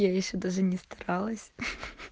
я ещё даже не старалась